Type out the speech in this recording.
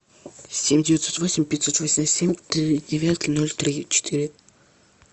семь девятьсот восемь пятьсот восемьдесят семь три девятки ноль три четыре